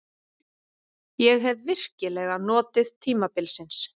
Ég hef virkilega notið tímabilsins.